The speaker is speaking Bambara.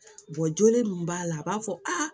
joge min b'a la a b'a fɔ aa